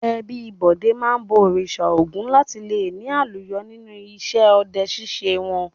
Ẹbí Bọ̀dé máa ń bọ Òrìṣà Ògún láti le ní àlùyọ nínú iṣẹ́ ọdẹ ṣíṣe wọn.